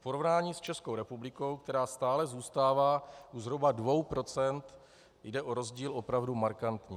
V porovnání s Českou republikou, která stále zůstává zhruba u 2 %, jde o rozdíl opravdu markantní.